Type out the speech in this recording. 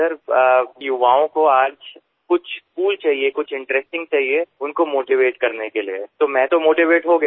sir युवाओं को आज कुछ कूल चाहिए कुछ इंटरेस्टिंग चाहिए उनको मोटीवेट करने के लिए तो मैं तोvmotivate हो गया